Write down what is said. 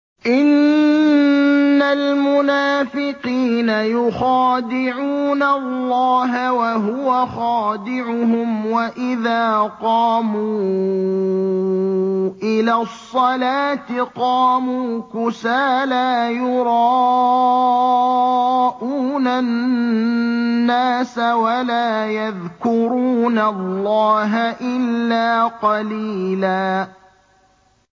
إِنَّ الْمُنَافِقِينَ يُخَادِعُونَ اللَّهَ وَهُوَ خَادِعُهُمْ وَإِذَا قَامُوا إِلَى الصَّلَاةِ قَامُوا كُسَالَىٰ يُرَاءُونَ النَّاسَ وَلَا يَذْكُرُونَ اللَّهَ إِلَّا قَلِيلًا